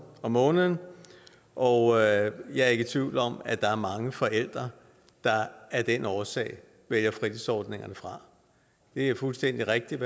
om måneden og jeg er ikke tvivl om at der er mange forældre der af den årsag vælger fritidsordningerne fra det er fuldstændig rigtigt